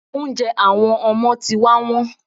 Oúnjẹ àwọn ọmọ ti wá wón.